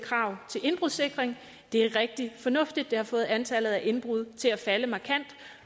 krav til indbrudssikring det er rigtig fornuftigt og det har fået antallet af indbrud til at falde markant